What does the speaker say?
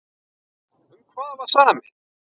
Um hvað var samið?